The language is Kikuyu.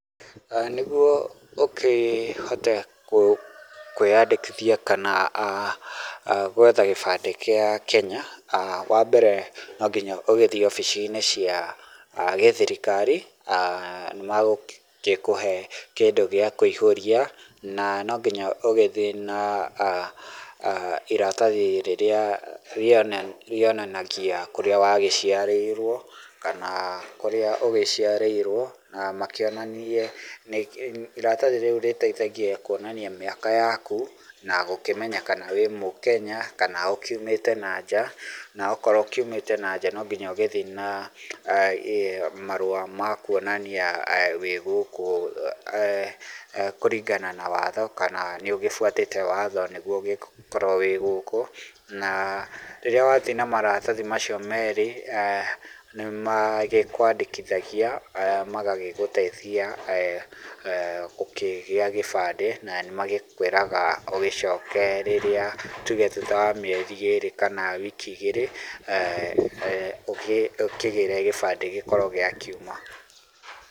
Nĩguo ũkĩhote kwĩyandĩkithia kana gwetha gĩbandĩ gĩa Kenya, wa mbere nonginya ũgĩthiĩ wabici-inĩ cia gĩthirikari nĩmagũgĩkũhe kĩndũ gĩa kũihũria na no nginya ũgĩthie na iratathi rĩrĩa rĩonanagia kũrĩa wagĩciarĩirwo kana kũrĩa ũgĩciarĩirwo na makĩonanie, iratathi rĩu rĩteithagia kwonania mĩaka yaku na gũkĩmenya kana wĩmũKenya kana ũkiumĩte na nja na akorwo ũkiumĩte na nja no nginya ũgĩthiĩ na marũa ma kwonania wĩgũkũ kũringana na watho na kana nĩ ũgĩbuatĩte watho nĩguo ũgĩkorwo wĩ gũkũ na rĩrĩa wathiĩ na marathi macio merĩ nĩmagĩkwandĩkithagia magagĩgũteithia gũkĩgĩa kĩbandĩ na nĩ magĩkwĩraga ũgĩcoke rĩrĩa tuge thutha wa mĩeri ĩrĩ kana wiki igĩrĩ ũkĩgĩre kĩbandĩ gĩaku gĩkorwo gĩakiuma.